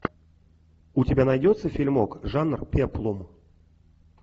у тебя найдется фильмок жанр пеплум